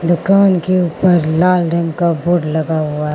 दुकान के ऊपर लाल रंग का बोड लगा हुआ--